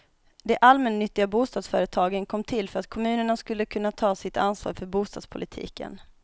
De allmännyttiga bostadsföretagen kom till för att kommunerna skulle kunna ta sitt ansvar för bostadspolitiken.